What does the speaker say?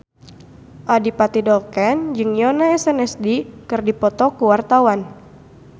Adipati Dolken jeung Yoona SNSD keur dipoto ku wartawan